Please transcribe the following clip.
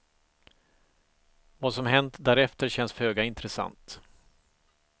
Vad som hänt därefter känns föga intressant.